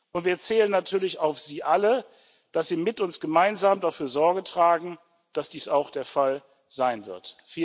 Und wir zählen natürlich auf Sie alle, dass Sie mit uns gemeinsam dafür Sorge tragen, dass dies auch der Fall sein wird.